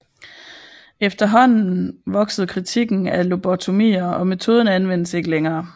Efterhånden voksede kritikken af lobotomier og metoden anvendes ikke længere